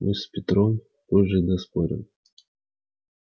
мы с петром позже доспорим